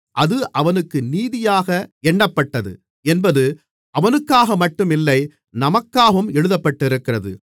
அது அவனுக்கு நீதியாக எண்ணப்பட்டது என்பது அவனுக்காகமட்டும் இல்லை நமக்காகவும் எழுதப்பட்டிருக்கிறது